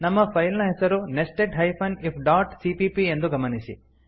ನಮ್ಮ ಫೈಲ್ ನ ಹೆಸರು nested hyphen if dot CPP ಎಂದು ಗಮನಿಸಿ